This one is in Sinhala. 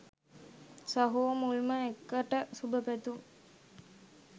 සහෝ මුල්ම එකට සුබ පැතුම්!